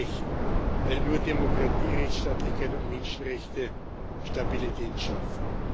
Mit Recht, weil nur Demokratie, Rechtsstaatlichkeit und Menschenrechte Stabilität schaffen.